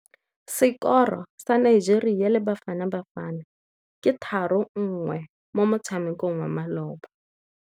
Sekôrô sa Nigeria le Bafanabafana ke 3-1 mo motshamekong wa malôba.